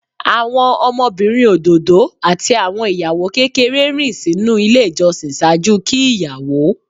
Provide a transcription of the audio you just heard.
Awọn ọmọbirin ododo ati awọn iyawo kekere rin sinu ile ijọsin ṣaaju ki iyawo.